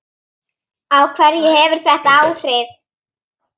Á hverja hefur þetta áhrif?